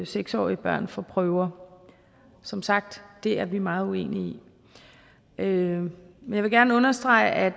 seks årige børn for prøver som sagt det er vi meget uenige i men jeg vil gerne understrege at